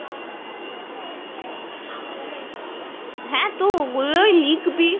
হ্যাঁ তো, গুলোই লিখবি।